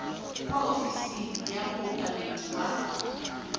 kwa ofising ya mookamedi wa